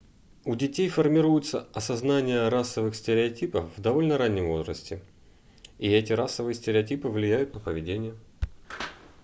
у детей формируется осознание расовых стереотипов в довольно раннем возрасте и эти расовые стереотипы влияют на поведение